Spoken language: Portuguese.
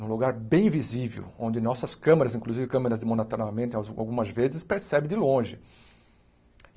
Num lugar bem visível, onde nossas câmeras, inclusive câmeras de monitoramento, algumas vezes percebe de longe.